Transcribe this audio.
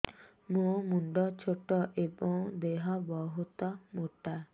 ମୋ ମୁଣ୍ଡ ଛୋଟ ଏଵଂ ଦେହ ବହୁତ ମୋଟା